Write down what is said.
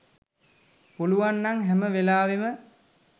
පුළුවන් නම් හැම වෙලාවේම